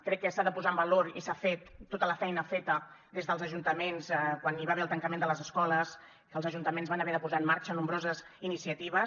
crec que s’ha de posar en valor i s’ha fet tota la feina feta des dels ajuntaments quan hi va haver el tancament de les escoles que els ajuntaments van haver de posar en marxa nombroses iniciatives